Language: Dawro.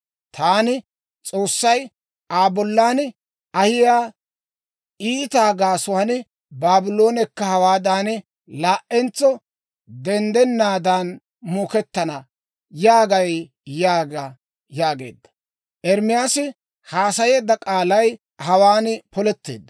‹ «Taani S'oossay Aa bollan ahiyaa iitaa gaasuwaan, Baabloonekka hawaadan laa"entso denddennaadan muukettana» yaagay› yaaga» yaageedda. Ermaasi haasayeedda k'aalay hawaan poletteedda.